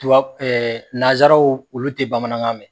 Tuwab nazaraw olu te bamanankan mɛ.